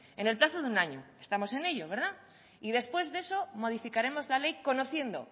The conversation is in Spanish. en el plazo de un año estamos en ello y después de eso modificaremos la ley conociendo